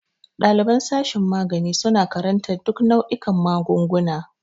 Ɗaliban sashin magani suna karantar duk nau'ikan magunguna.